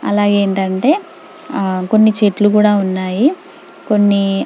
ఆలా ఏంటంటే కొన్ని చెట్లు కూడా ఉన్నాయి కొన్ని --